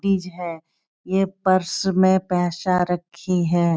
तीज है। ये पर्स में पैसा रखी है।